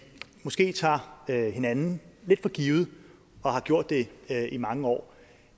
måske tager hinanden lidt for givet og har gjort det i mange år